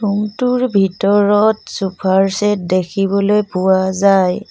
Room টোৰ ভিতৰত চোফাৰ ছেট দেখিবলৈ পোৱা যায়।